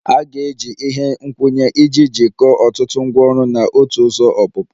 A ga-eji ihe nkwụnye iji jikọọ ọtụtụ ngwaọrụ na otu ụzọ ọpụpụ